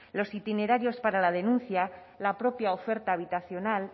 los itinerarios para la denuncia la propia oferta habitacional